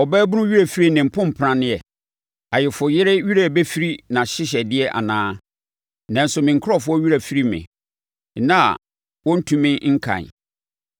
Ɔbaabunu werɛ firi ne mpompranneɛ, ayeforɔyere werɛ bɛfiri nʼahyehyɛdeɛ anaa? Nanso me nkurɔfoɔ werɛ afiri me, nna a wɔntumi nkan.